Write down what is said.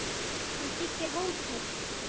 Hann byggir hótel.